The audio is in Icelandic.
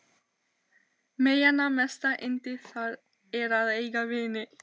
Meyjanna mesta yndi það er að eiga vin.